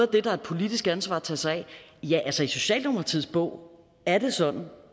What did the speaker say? det er et politisk ansvar at tage sig af ja altså i socialdemokratiets bog er det sådan